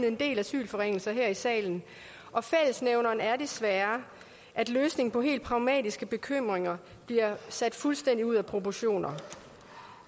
en del asylforringelser her i salen og fællesnævneren er desværre at løsningen på helt pragmatiske bekymringer bliver sat fuldstændig ud af proportioner